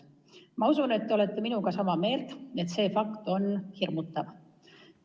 Ma usun, et te olete minuga samal arvamusel, et see on hirmutav.